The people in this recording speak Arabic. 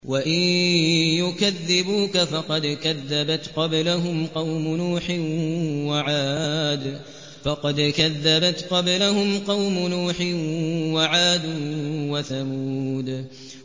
وَإِن يُكَذِّبُوكَ فَقَدْ كَذَّبَتْ قَبْلَهُمْ قَوْمُ نُوحٍ وَعَادٌ وَثَمُودُ